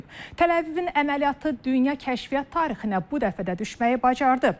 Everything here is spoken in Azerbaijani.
Təl-Əvivin əməliyyatı dünya kəşfiyyat tarixinə bu dəfə də düşməyi bacardı.